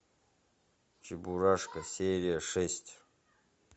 чебурашка серия шесть